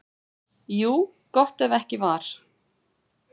Jú, gott ef ekki var.